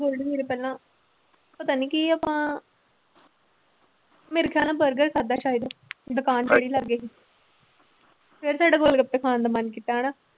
ਗੋਲਡੀ ਵੀਰ ਪਹਿਲਾਂ ਪਤਾ ਨੀ ਕੀ ਆਪਾਂ ਮੇਰੇ ਖਿਆਲ ਨਾਲ ਬਰਗਰ ਖਾਧਾ ਸ਼ਾਇਦ ਦੁਕਾਨ ਜਿਹੜੀ ਲਾਗੇ ਸੀ ਫਿਰ ਸਾਡਾ ਗੋਲਗੱਪੇ ਖਾਣ ਦਾ ਮਨ ਕੀਤਾ ਹਨਾ।